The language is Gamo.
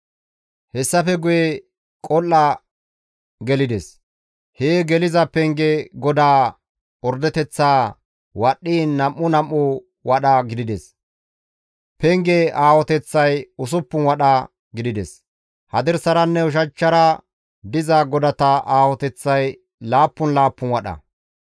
Hessafe guye qol7a gelides. Hee geliza penge godaa ordeteththaa wadhdhiin nam7u nam7u wadha gidides. Pengeza aahoteththay usuppun wadha gidides; hadirsaranne ushachchara diza godata aahoteththay laappun laappun wadha.